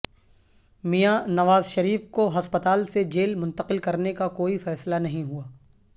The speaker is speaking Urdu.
میاں نواز شریف کو ہسپتال سے جیل منتقل کرنیکا کوئی فیصلہ نہیں ہوا